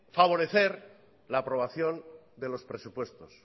favorecer la aprobación de los presupuestos